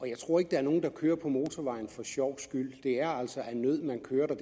jeg tror ikke der er nogen der kører på motorvejene for sjovs skyld det er altså af nød man kører der